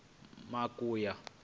makuya